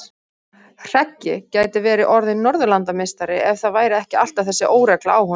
Hreggi gæti verið orðinn norðurlandameistari ef það væri ekki alltaf þessi óregla á honum.